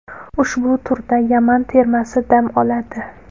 Ushbu turda Yaman termasi dam oladi.